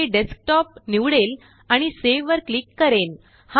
मी desktop निवडेल आणि save वरक्लिक करेन